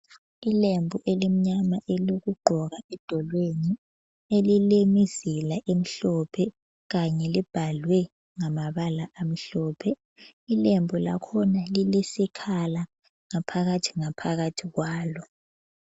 Ilembu elimnyama elokugqoka edolweni elilemizila emhlophe kanye libhalwe ngamabala amhlophe. Ilembu lakhona lilesikhala ngaphakathi ngaphakathi kwalo.